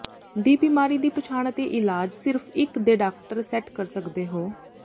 ਦੀ ਬਿਮਾਰੀ ਦੀ ਪਛਾਣ ਅਤੇ ਇਲਾਜ ਸਿਰਫ਼ ਇੱਕ ਦੇਡਾਕਟਰ ਸੈੱਟ ਕਰ ਸਕਦੇ ਹੋ